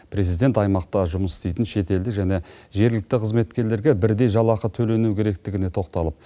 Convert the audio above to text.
президент аймақта жұмыс істейтін шетелдік және жергілікті қызметкерлерге бірдей жалақы төленуі керектігіне тоқталып